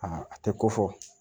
a tɛ ko fɔ